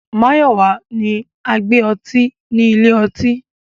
Mayọwa ni agbé ọ̀tí ní ilẹ̀-ọ̀tí